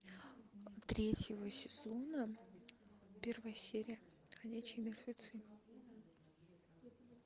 третьего сезона первая серия ходячие мертвецы